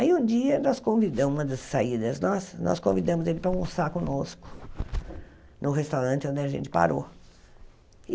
Aí um dia nós convidamos nas saídas nossas nós convidamos ele para almoçar conosco num restaurante onde a gente parou.